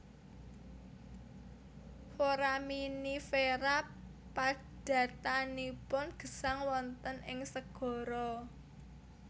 Foraminifera padatanipun gesang wonten ing segara